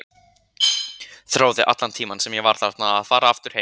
Þráði allan tímann sem ég var þarna að fara aftur heim.